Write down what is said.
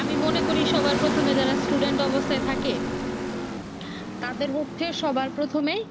আমি মনে করি সবাই প্রথমে যারা students অবস্থায় থাকে তাদের হচ্ছে সবার প্রথমেই